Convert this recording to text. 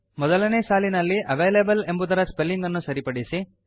ಮೊದಲನೇ ಸಾಲಿನಲ್ಲಿ ಅವಲೇಬಲ್ ಎಂಬುದರ ಸ್ಪೆಲ್ಲಿಂಗ್ ಅನ್ನು ಸರಿಪಡಿಸಿ